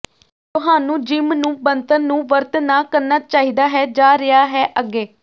ਤੁਹਾਨੂੰ ਜਿੰਮ ਨੂੰ ਬਣਤਰ ਨੂੰ ਵਰਤ ਨਾ ਕਰਨਾ ਚਾਹੀਦਾ ਹੈ ਜਾ ਰਿਹਾ ਹੈ ਅੱਗੇ